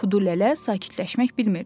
Kudu lələ sakitləşmək bilmirdi.